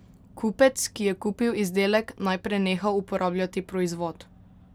Kupec, ki je kupil izdelek, naj preneha uporabljati proizvod.